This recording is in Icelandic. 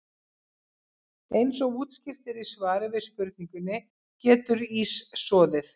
Eins og útskýrt er í svari við spurningunni Getur ís soðið?